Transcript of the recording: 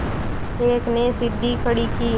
एक ने सीढ़ी खड़ी की